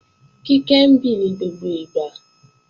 Kíkẹ́ ń bì ní gbogbo ìgbà